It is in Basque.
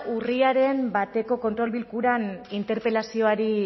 urriaren bateko kontrol bilkuran interpelazioari